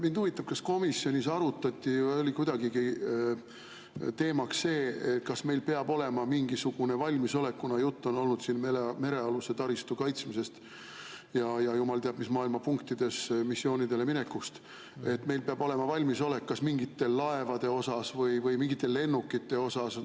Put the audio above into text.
Mind huvitab, kas komisjonis arutati või oli kuidagigi teemaks see, kas meil peab olema mingisugune valmisolek, kuna juttu on siin olnud merealuse taristu kaitsmisest ja jumal teab mis maailmapunktidesse missioonidele minekust, et meil peab olema valmisolek kas mingite laevade osas või mingite lennukite osas.